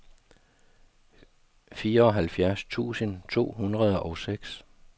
fireoghalvfjerds tusind to hundrede og seks